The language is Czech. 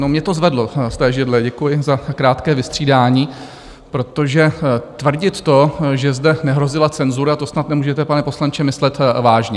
No mě to zvedlo z té židle - děkuji za krátké vystřídání - protože tvrdit to, že zde nehrozila cenzura, to snad nemůžete, pane poslanče, myslet vážně.